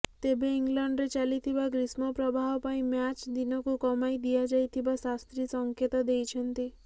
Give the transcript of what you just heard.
ତେବେ ଇଂଲଣ୍ଡରେ ଚାଲିଥିବା ଗ୍ରୀଷ୍ମପ୍ରବାହ ପାଇଁ ମ୍ୟାଚ୍ ଦିନକୁ କମାଇ ଦିଆଯାଇଥିବା ଶାସ୍ତ୍ରୀ ସଂକେତ ଦେଇଛନ୍ତି